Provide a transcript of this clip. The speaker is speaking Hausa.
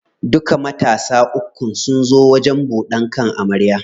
Duka matansa uku sun zo wajen buɗan kan amarya.